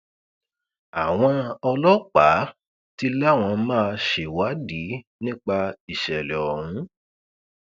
àwọn ọlọpàá ti láwọn máa ṣèwádìí nípa ìṣẹlẹ ọhún